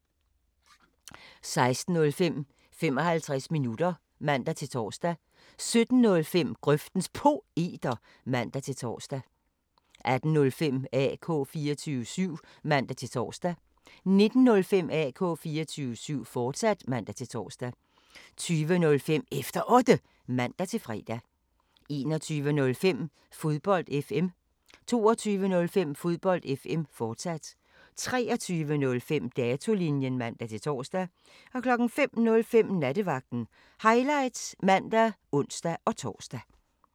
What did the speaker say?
16:05: 55 minutter (man-tor) 17:05: Grøftens Poeter (man-tor) 18:05: AK 24syv (man-tor) 19:05: AK 24syv, fortsat (man-tor) 20:05: Efter Otte (man-fre) 21:05: Fodbold FM 22:05: Fodbold FM, fortsat 23:05: Datolinjen (man-tor) 05:05: Nattevagten Highlights (man og ons-tor)